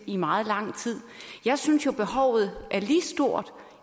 i meget lang tid jeg synes jo behovet er lige stort